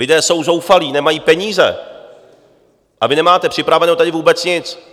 Lidé jsou zoufalí, nemají peníze, a vy nemáte připraveného tady vůbec nic.